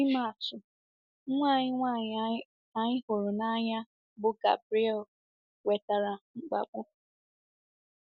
Ịma atụ, nwa anyị nwanyị anyị hụrụ n’anya bụ́ Gabriele nwetara mkpagbu.